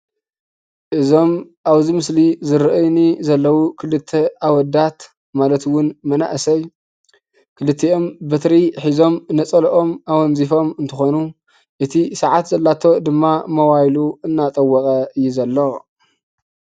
እዞም ኣብዚ ምስሊ ዝረአዩ ዘለው ክልተ ኣወዳት ማለት እውን መናእሰይ ክልቲኦም በትሪ ሒዞም ነፀለኦም ኣወንዚፎም እንትኮኑ እቲ ሳዓት ዘለቶ ድማ ሞባይሉ እናጠወቀ እዩ ዘሎ።